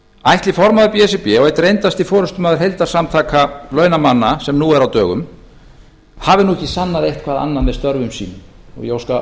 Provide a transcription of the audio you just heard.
ætli formaður b s r b og einn reyndasti formaður heildarsamtaka launamanna sem nú er á dögum hafi nú ekki sannað eitthvað annað með störfum sínum ég óska